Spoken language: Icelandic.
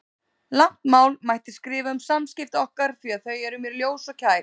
Langt mál mætti skrifa um samskipti okkar því að þau eru mér ljós og kær.